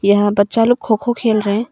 यहां बच्चा लोग खो खो खेल रहे है।